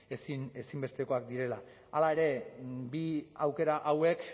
ezinbestekoak direla hala ere bi aukera hauek